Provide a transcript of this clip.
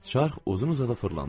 Çarx uzun-uzadı fırlandı.